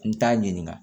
N t'a ɲininka